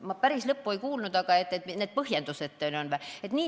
Ma päris lõppu ei kuulnud, aga et mis need põhjendused on või?